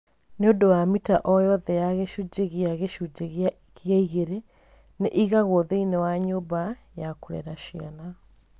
Nĩ ũndũ wa mita o yothe ya gĩcunjĩ gĩa gĩcunjĩ gĩa igĩrĩ, nĩ ĩigagwo thĩinĩ wa nyũmba ya kũrera ciana.